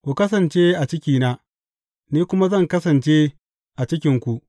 Ku kasance a cikina, ni kuma zan kasance a cikinku.